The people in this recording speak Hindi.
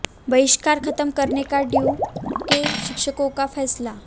बहिष्कार खत्म करने का डीयू के शिक्षकों का फैसला